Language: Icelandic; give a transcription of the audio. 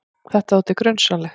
Þetta þótti grunsamlegt.